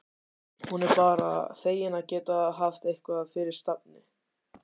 Hún er bara fegin að geta haft eitthvað fyrir stafni.